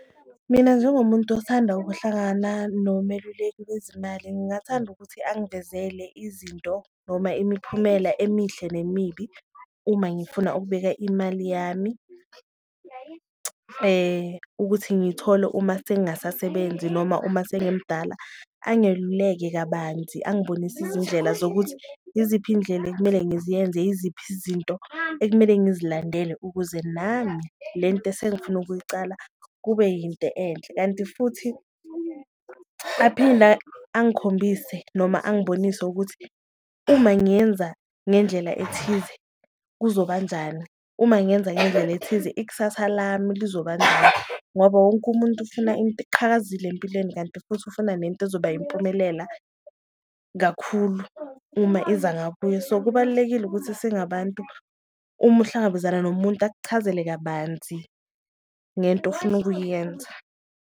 Mina njengomuntu othanda ukuhlangana nomeluleki wezimali ngingathanda ukuthi angivezele izinto noma imiphumela emihle nemibi uma ngifuna ukubeka imali yami. Ukuthi ngiyithole uma sengasasebenzi noma uma sengimdala, angeluleke kabanzi angibonise izindlela zokuthi yiziphi izindlela ekumele ngiziyenze, yiziphi izinto ekumele ngizilandele ukuze nami le nto esengifuna ukuyicala kube yinto enhle. Kanti futhi aphinda angikhombise noma angibonise ukuthi uma ngiyenza ngendlela ethize, kuzoba njani uma ngenza ngendlela ethize ikusasa lami lizoba njani ngoba wonke umuntu ufuna into eqhakazile empilweni. Kanti futhi ufuna nento ezoba impumelela kakhulu uma iza ngakuye so, kubalulekile ukuthi singabantu uma uhlangabezana nomuntu akuchazele kabanzi ngento ofuna ukuyenza.